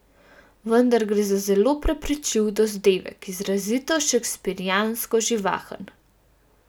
Vendar gre za zelo prepričljiv dozdevek, izrazito šekspirjansko živahen.